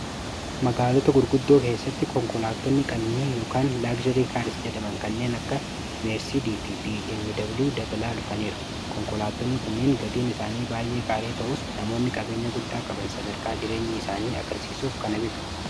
magaalota gurguddoo keessatti konkolaatonni qadnii ykn laagjarii kaaris jedaman kanneen akka meersd f b immi dabliu dabalaa dhufaniira konkolaattonni kunniin gadiin isaanii baay'ee qaalii ta'us namoonni qabeenya guddaa qaban sadarkaa jireenya isaanii akarsiisuuf kana bitu